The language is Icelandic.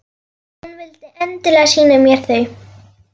Hún vildi endilega sýna mér þau.